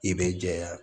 I bɛ jɛya